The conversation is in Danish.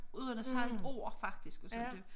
Uden at sige et ord faktisk og sådan det